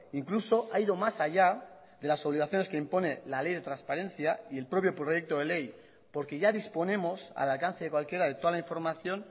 incluso ha ido más allá de las obligaciones que impone la ley de transparencia y el propio proyecto de ley porque ya disponemos al alcance de cualquiera de toda la información